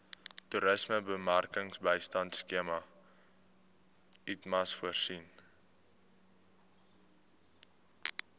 toerismebemarkingbystandskema itmas voorsien